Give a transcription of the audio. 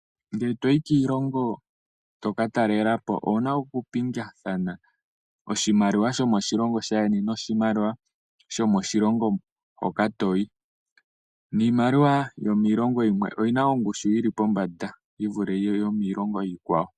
Ngele toyi kiilongo toka talelapo owuna oku okupingakanitha oshimaliwa shomo shilongo shaayeni noshi maliwa shomoshilongo moka wuuka, niimaliwa yomiilongo yimwe oyina ongushu yili po mbanda yivule yomiilongo iikwawo.